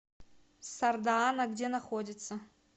сардаана где находится